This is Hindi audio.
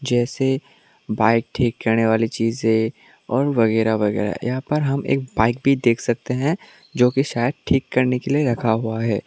जैसे बाइक ठीक करने वाली चीजें है और वगैरा वगैरा यहां पर हम एक बाइक भी देख सकते हैं जो की शायद ठीक करने के लिए रखा हुआ है।